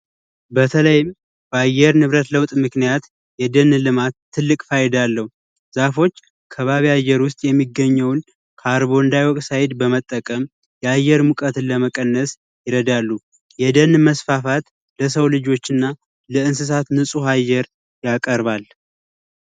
በተለይም በአየር ንብረት ለውጥ ምክንያት የደህን ልማት ትልቅ ፋይዳዎች ከባቢ አየር ውስጥ የሚገኘውን ካርቦንዳዮች ሳይድ በመጠቀም የአየር ሙቀትን ለመቀነስ ይረዳሉ መስፋፋት ለሰው ልጆችና ለእንስሳት አየር ያቀርባል